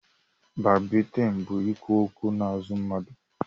Bakbaitịn bụ ikwu okwu n'azụ mmadụ